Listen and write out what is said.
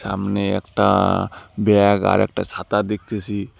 আমনে একটা ব্যাগ আরেকটা ছাতা দেখতেসি।